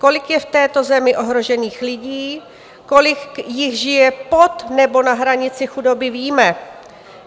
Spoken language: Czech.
Kolik je v této zemi ohrožených lidí, kolik jich žije pod nebo na hranici chudoby, víme.